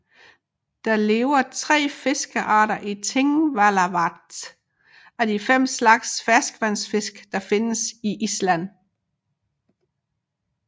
Der lever tre fiskearter i Thingvallavatn af de fem slags ferskvandsfisk der findes i Island